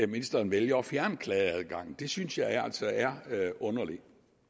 ministeren vælger at fjerne klageadgangen det synes jeg altså er underligt